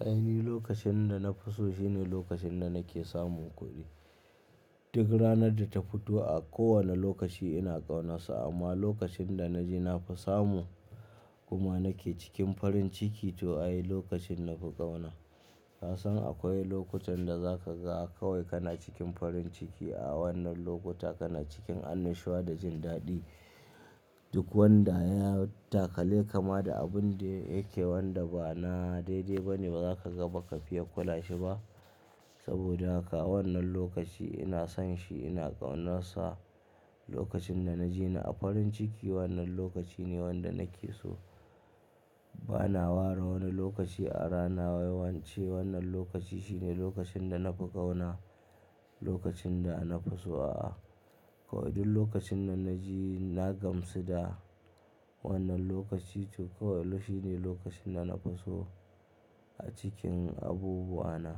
Ai ni, lokacin da na fi so shine lokacin da nake samun kuɗi. Duk ranar da ta fito a kowane lokaci ina ƙaunarsa amma lokacin da na je na fi samu kuma nake cikin farin ciki to ayi lokacin na fi ƙauna. Ka san akwai lokutan da za ka ga kawai kana cikin farin ciki a wannan lokuta kana cikin annashuwa da jin daɗi duk wanda ya yi takale kama da abun da yake wanda ba na daidai ba ne ba za ka ga ba ka fiya kula shi ba. Saboda haka wannan lokaci ina son shi ina ƙaunarsa. Lokacin da na je na a farin ciki wannan lokaci ne wanda nake so. Ba na ware wani lokaci a rana waye wance wannan lokaci shine lokacin da na fi ƙauna, lokacin da na fi so a'a. Kawai duk lokacin da na je na gamsu da wannan lokaci to kawai shi ne lokacin da na fi so a cikin abubuwa na.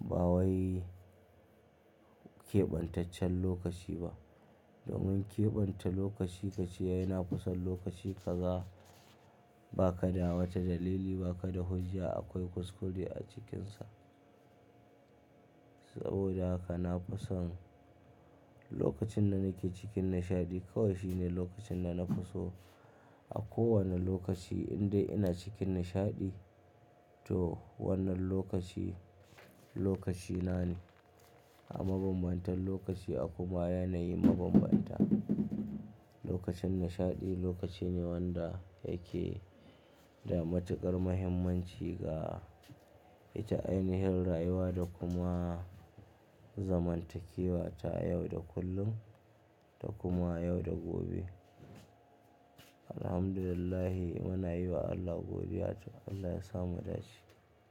Ba wai keɓantaccen lokaci ba. Domin keɓanta lokaci kace yana kusan lokaci kaza ba ka da wata dalili ba ka da hujja akwai kuskure a cikinsa. Saboda haka na fi son lokacin da nake cikin nishaɗi kawai shi ne lokacin da na fi so a kowane lokaci indai ina cikin nishaɗi to wannan lokaci, lokaci na ne. A mabambantan lokaci akwai ma yanayi mabambanta. Lokacin nishaɗi lokaci ne wanda yake da matuƙar muhimmanci ga ita ainihin rayuwa da kuma zamantakewa ta yau da kullum da kuma yau da gobe. Alhamdulillah muna yi wa Allah godiya to Allah ya samu dace.